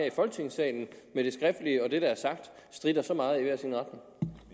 i folketingssalen med det skriftlige og det der er sagt stritter så meget i hver sin retning